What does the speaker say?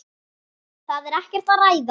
Það er ekkert að ræða.